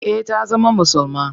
Eh ta zama musulma.